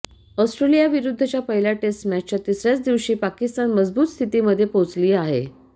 ऑस्ट्रेलियाविरुद्धच्या पहिल्या टेस्ट मॅचच्या तिसऱ्याच दिवशी पाकिस्तान मजबूत स्थितीमध्ये पोहोचली आहे